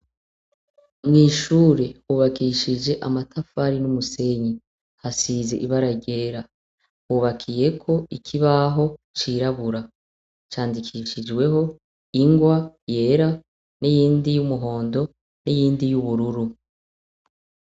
Mwishure hubakishij' amatafari n' umusenyi, hasiz' ibara ryera hubakiyek' ikibaho cirabura, candikishijweh' ingwa yera niyindi y' umuhondo niyindi y'ubururu.